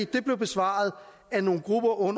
det blev besvaret af nogle grupper